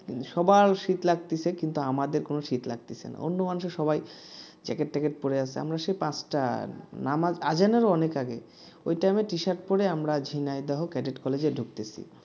সবার শীত লাগতেছে কিন্তু আমাদের কোন শীত লাগতেছে না অন্য মানুষজন সবাই jacket ট্যাকেট পরে আছে আমরা সেই পাঁচটা নামাজেরও অনেক আগে ওই time t-shirt পড়ে আমরা ঝিনাইদহ ক্যাডেট college ঢুকতেছি